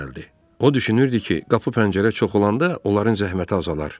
O düşünürdü ki, qapı pəncərə çox olanda onların zəhməti azalar.